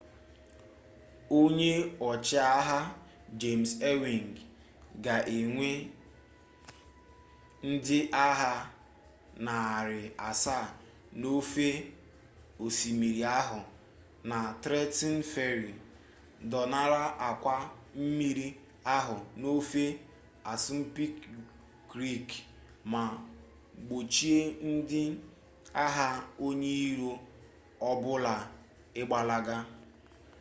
onye ọchịagha james ewing ga-ewe ndị agha narị asaa n'ofe osimiri ahụ na trenton ferry dọnara akwa mmiri ahụ n'ofe assunpink creek ma gbochie ndị agha onye iro ọ bụla ịgbalaga